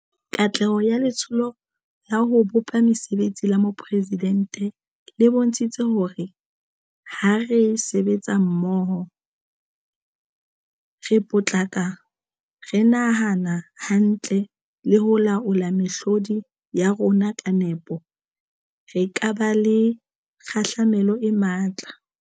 Katleho ya Letsholo la ho bopa Mesebetsi la Boporesi dente le bontshitse hore ha re sebetsa mmoho, re potlaka, re nahana hantle le ho laola mehlodi ya rona ka nepo, re ka ba le kgahlamelo e matla.